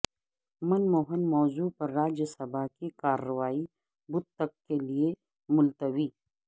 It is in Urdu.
من موہن موضوع پر راجیہ سبھا کی کارروائی بدھ تک کےلئے ملتوی